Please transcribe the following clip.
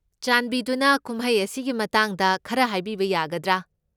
ꯆꯥꯟꯕꯤꯗꯨꯅ ꯀꯨꯝꯍꯩ ꯑꯁꯤꯒꯤ ꯃꯇꯥꯡꯗ ꯈꯔ ꯍꯥꯏꯕꯤꯕ ꯌꯥꯒꯗ꯭ꯔꯥ?